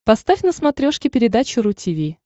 поставь на смотрешке передачу ру ти ви